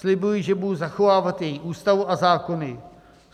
Slibuji, že budu zachovávat její Ústavu a zákony.